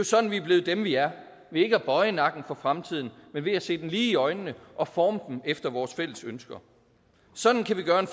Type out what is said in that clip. sådan vi er blevet dem vi er ved ikke at bøje nakken for fremtiden men ved at se den lige i øjnene og forme den efter vores fælles ønsker sådan kan vi gøre en